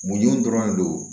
Mun dɔrɔn de don